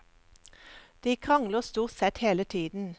De krangler stort sett hele tiden.